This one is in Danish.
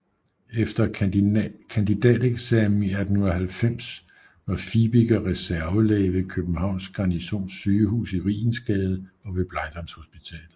Efter kandidateksamen i 1890 var Fibiger reservelæge ved Københavns Garnisons Sygehus i Rigensgade og ved Blegdamshospitalet